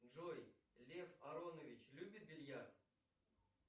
джой лев аронович любит бильярд